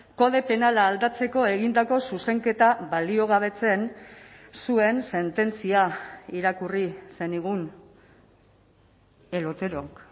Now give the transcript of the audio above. kode penala aldatzeko egindako zuzenketa baliogabetzen zuen sententzia irakurri zenigun el oterok